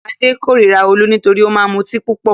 Adé kórira Olú nítorí ó máa mutí púpọ̀.